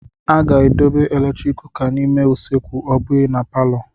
A ga-edobe eletrik kuka n'ime usekwu ọ bụghị na palọ.